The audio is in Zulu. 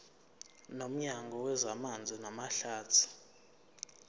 nomnyango wezamanzi namahlathi